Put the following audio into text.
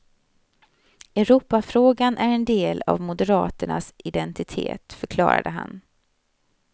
Europafrågan är en del av moderaternas identitet, förklarade han.